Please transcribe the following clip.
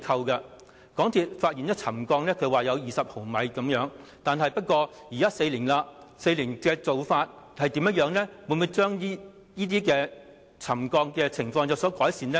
港鐵公司發現沉降了20毫米，現在相隔了4年才進行加固工作，沉降的情況是否有改善呢？